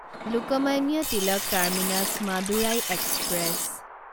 Lokmanya Tilak terminus Madurai express